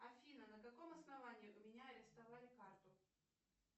афина на каком основании у меня арестовали карту